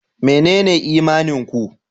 Menene imanin ku?